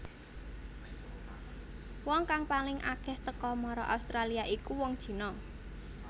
Wong kang paling akéh teka mara Australia iku wong China